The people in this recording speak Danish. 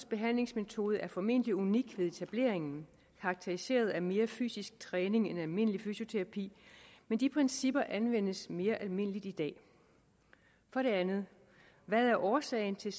behandlingsmetode er formentlig unik ved etableringen og karakteriseret ved mere fysisk træning end almindelig fysioterapi men de principper anvendes mere almindeligt i dag for det andet hvad er årsagen til